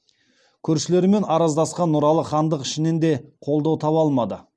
көршілерімен араздасқан нұралы хандық ішінен де қолдау таба алмады